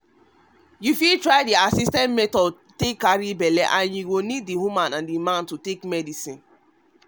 to try assisted method to carry belle go need both the man and woman to dey take medicinehonestly